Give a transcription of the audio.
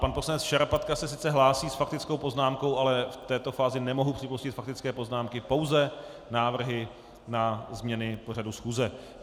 Pan poslanec Šarapatka se sice hlásí s faktickou poznámkou, ale v této fázi nemohu připustit faktické poznámky, pouze návrhy na změny pořadu schůze.